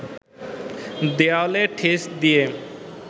দেয়ালে ঠেস দিয়ে